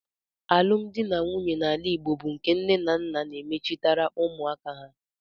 Alụmdi na nwunye n'ala Igbo bụ nke nnenanna na-emechitere ụmụaka ha.